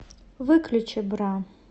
выключи бра